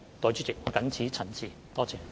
代理主席，我謹此陳辭。